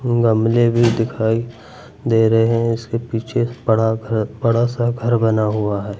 गमले भी दिखाई दे रहे हैं इसके पीछे बड़ा घर बड़ा सा घर बना हुआ है।